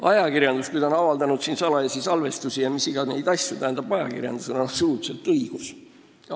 Ajakirjandusel, kui ta on avaldanud salajasi salvestisi ja mis iganes asju, on absoluutselt õigus seda teha.